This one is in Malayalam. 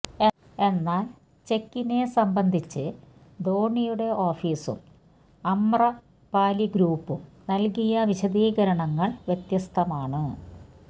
എന്നാല് ചെക്കിനെ സംബന്ധിച്ച് ധോണിയുടെ ഓഫീസും അമ്രപാലി ഗ്രൂപ്പും നല്കിയ വിശദീകരണങ്ങള് വ്യത്യസ്തമാണ്